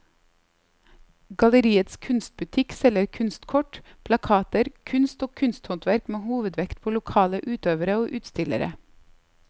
Galleriets kunstbutikk selger kunstkort, plakater, kunst og kunsthåndverk med hovedvekt på lokale utøvere og utstillere.